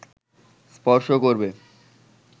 স্পর্শ করবে